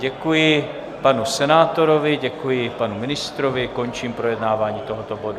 Děkuji panu senátorovi, děkuji panu ministrovi, končím projednávání tohoto bodu.